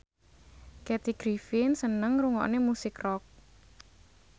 Kathy Griffin seneng ngrungokne musik rock